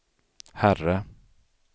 herre